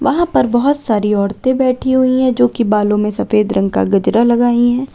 वहां पर बहोत सारी औरतें बैठी हुई है जो की बालों में सफेद रंग का गजरा लगाई है।